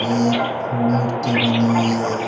ये एक मूर्ति बनी हुई है।